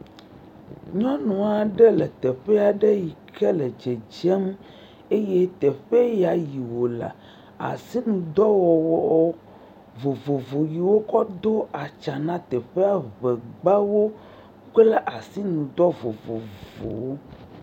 Nyɔnu aɖe le teƒe aɖe yike le dzedzem eye teƒe ya yi wolea asinudɔwɔwɔ vovovowo yike wokɔ do atsa na teƒea ŋeŋeawo kpe ɖe asinudɔ vovovowo ŋu.